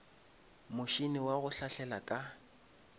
motšhene wa go hlahlela ka